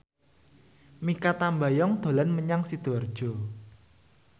Mikha Tambayong dolan menyang Sidoarjo